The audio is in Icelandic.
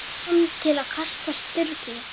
kom til kasta Sturlu.